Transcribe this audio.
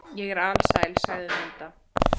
Ég er alsæl, sagði Munda.